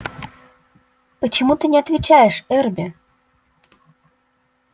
почему ты не отвечаешь эрби